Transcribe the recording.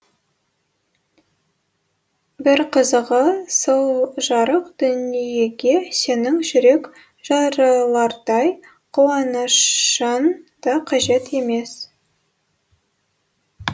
бір қызығы сол жарық дүниеге сенің жүрек жарылардай қуанышың да қажет емес